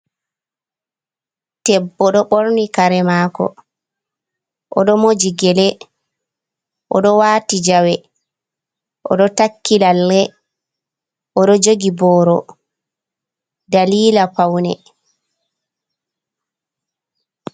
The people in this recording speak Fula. Debbo ɗo ɓorni kare mako, o ɗo moji gele, oɗo wati jawe, o ɗo takki lalle, o ɗo jogi boro dalila paune.